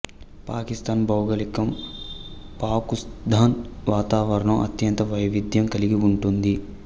పాకిస్థాన్ భౌగోళికం పాకుస్థాన్ వాతావరణం అత్యంత వైవిద్యం కలిగి ఉటుంది